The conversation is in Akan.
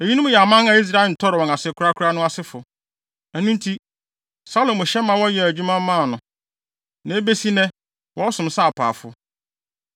Eyinom yɛ aman a Israel ntɔre wɔn ase korakora no asefo. Ɛno nti, Salomo hyɛɛ wɔn ma wɔyɛɛ adwuma maa no. Na ebesi nnɛ, wɔsom sɛ apaafo.